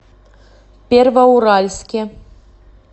первоуральске